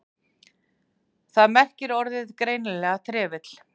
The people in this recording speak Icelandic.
Þar merkir orðið greinilega trefill.